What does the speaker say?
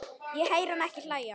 Ég heyri hana ekki hlæja